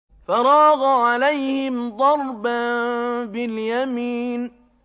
فَرَاغَ عَلَيْهِمْ ضَرْبًا بِالْيَمِينِ